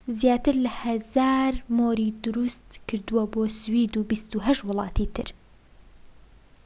زیاتر لە ١٠٠٠ مۆری دروست کردووە بۆ سوید و ٢٨ وڵاتی تر